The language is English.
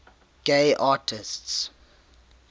gay artists